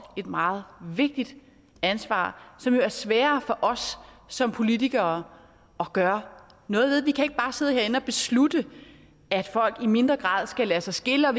et meget vigtigt ansvar som jo er sværere for os som politikere at gøre noget ved vi kan ikke bare sidde herinde og beslutte at folk i mindre grad skal lade sig skille og